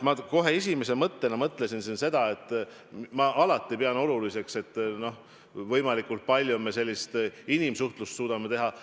Ma kohe esimese mõttena mõtlesin, et ma alati pean oluliseks, et me võimalikult palju inimsuhtlusega suudaksime tegelda.